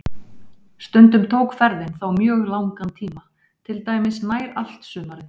Stundum tók ferðin þá mjög langan tíma, til dæmis nær allt sumarið.